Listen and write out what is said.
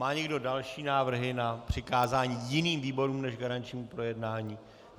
Má někdo další návrhy na přikázání jiným výborům než garančnímu projednání?